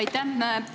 Aitäh!